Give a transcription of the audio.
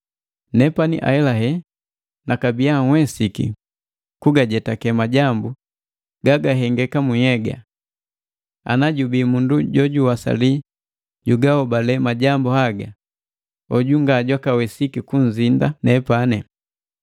Nepani ahelahe nakabia nhwesiki kugajetake majambu gagahengeka mu nhyega. Ana jubii mundu jojuwasali jugahobale majambu haga, hoju ngajwakawesiki kunzinda nepani.